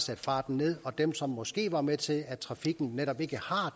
sat farten ned og dem som måske var med til at trafikken netop ikke